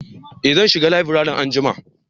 eh zan shiga laburare anjima